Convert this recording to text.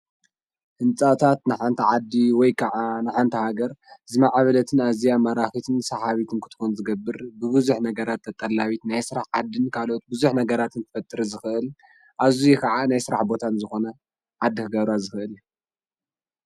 ህንፃታት ንሓንቲ ዓዲ ወይ ካዓ ንሓንቲ ሃገር ዝማዕበለትን ኣዝያ ማራኺትን ሰሓቢትን ክትኮን ዝገብር ብብዙሕ ነገራት ተጠላቢት ናይ ስራሕ ዓዲ ካልኦት ብዙሕ ነገራትን ክፈጥር ዝኽእል ኣዝዩ ካዓ ናይ ስራሕ ቦታ ዝኾነ ዓዲ ክገብራ ዝኽእል እዩ፡፡